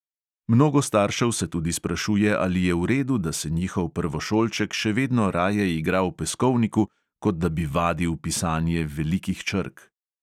Mnogo staršev se tudi sprašuje, ali je v redu, da se njihov prvošolček še vedno raje igra v peskovniku, kot da bi vadil pisanje velikih črk.